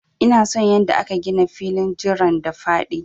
Ina son yanda aka gina filin jiran da faɗi.